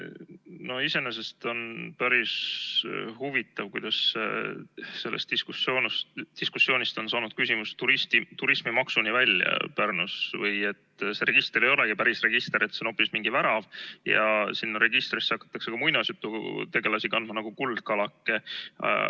No iseenesest on päris huvitav, kuidas sellest diskussioonist on saanud küsimus Pärnu turismimaksuni välja või et see register ei olegi päris register, vaid see on hoopis mingi värav, ja sinna registrisse hakatakse kandma ka muinasjututegelasi, nagu kuldkalake.